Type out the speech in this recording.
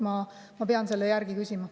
Ma pean selle järele küsima.